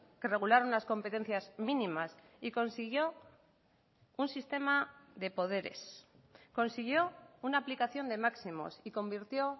que regular unas competencias mínimas y consiguió un sistema de poderes consiguió una aplicación de máximos y convirtió